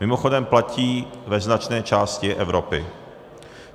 Mimochodem platí ve značné části Evropy.